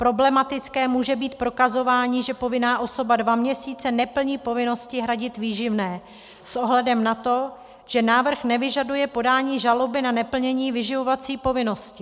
Problematické může být prokazování, že povinná osoba dva měsíce neplní povinnosti hradit výživné, s ohledem na to, že návrh nevyžaduje podání žaloby na neplnění vyživovací povinnosti.